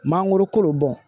Mangoro kolo bɔn